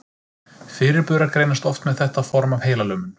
Fyrirburar greinast oft með þetta form af heilalömun.